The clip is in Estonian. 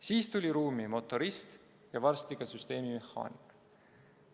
Siis tuli ruumi motorist ja varsti ka süsteemimehaanik.